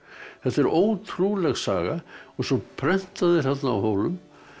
þetta er ótrúleg saga og svo prenta þeir á Hólum